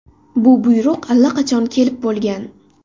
Bu buyruq allaqachon kelib bo‘lgan.